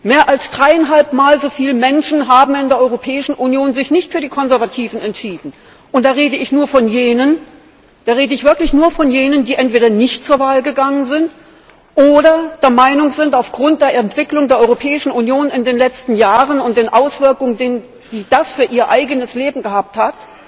Mehr als dreieinhalb mal so viele Menschen in der Europäischen Union haben sich nicht für die Konservativen entschieden und da rede ich wirklich nur von jenen, die entweder nicht zur Wahl gegangen sind oder der Meinung sind aufgrund der Entwicklung der Europäischen Union in den letzten Jahren und den Auswirkungen, die das für ihr eigenes Leben gehabt hat,